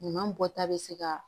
Ɲuman bɔta bɛ se ka